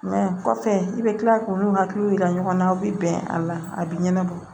kɔfɛ i bɛ kila k'olu hakiliw yira ɲɔgɔn na u bɛ bɛn a la a bɛ ɲɛnabɔ